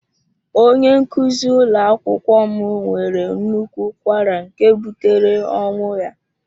Onye nkuzi ụlọ akwụkwọ m nwere nnukwu ụkwara nke butere ọnwụ ya.